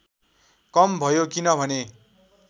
कम भयो किनभने